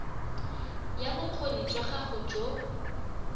ya bokgoni jwa gago jo